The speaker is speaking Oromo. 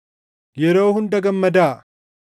Yeroo hunda gammadaa;